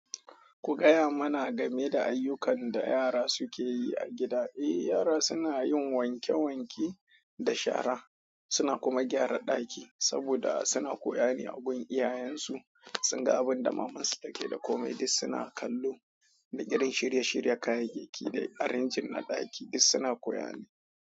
Ku gaya mana game da ayyukan da yara suke yi a gida. Eh, yara suna yin wanke wanke da shara, suna kuma gyara daki saboda suna koya ne. Agun iyayensu, sun ga abunda mamansu take da komai duk suna kallo da irin shirye shiryen kayayyaki da arranging na ɗaki duk suna koya ne.